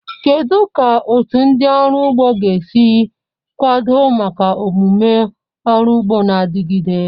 Kedu ka otu ndị ọrụ ugbo ga-esi kwado maka omume ọrụ ugbo na-adigide?